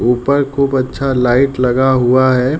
ऊपर खूब अच्छा लाइट लगा हुआ है।